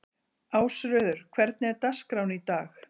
Ásröður, hvernig er dagskráin í dag?